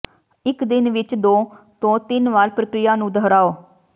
ਇਕ ਦਿਨ ਵਿਚ ਦੋ ਤੋਂ ਤਿੰਨ ਵਾਰ ਪ੍ਰਕ੍ਰਿਆ ਨੂੰ ਦੁਹਰਾਓ